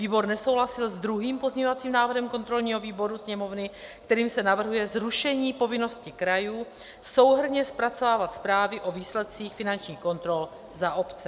Výbor nesouhlasil s druhým pozměňovacím návrhem kontrolního výboru Sněmovny, kterým se navrhuje zrušení povinnosti krajů souhrnně zpracovávat zprávy o výsledcích finančních kontrol za obce.